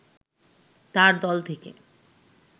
তার দল থেকে